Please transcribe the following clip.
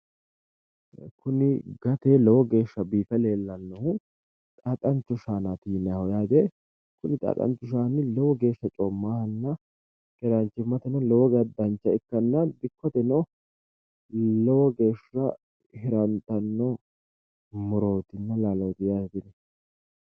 Kuni gate lowo geeshsha biife leellannohu xaaxancho shaanati yinaayiiho yaate kuni xaaxanchi shaani lowo geeshsha coommahanna keeranchimmateno lowo geeshsha dancha ikkanna dikkoteno lowo geeshsha hirantanno murootinna laalooti yaate tini